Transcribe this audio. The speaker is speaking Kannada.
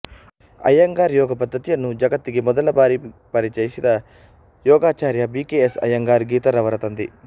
ಅಯ್ಯಂಗಾರ್ ಯೋಗ ಪದ್ಧತಿಯನ್ನು ಜಗತ್ತಿಗೆ ಮೊದಲ ಬಾರಿ ಪರಿಚಯಿಸಿದ ಯೊಗಾಚಾರ್ಯ ಬಿ ಕೆ ಎಸ್ ಅಯ್ಯಂಗಾರ್ ಗೀತಾರವರ ತಂದೆ